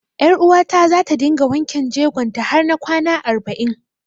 Ƴaruwata za ta dinga wanken jegon ta har na kwana arba'in.